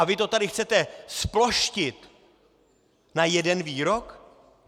A vy to tady chcete zploštit na jeden výrok?